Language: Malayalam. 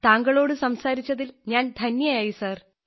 താങ്കളോട് സംസാരിച്ചതിൽ ഞാൻ ധന്യയായി സാർ